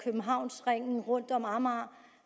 af københavnsringen rundt om amager